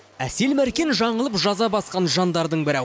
әсел мәркен жаңылып жаза басқан жандардың бірі